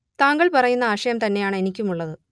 താങ്കൾ പറയുന്ന ആശയം തന്നെയാണ് എനിക്കും ഉള്ളത്